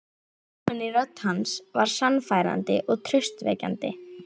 Hljómurinn í rödd hans var sannfærandi og traustvekjandi.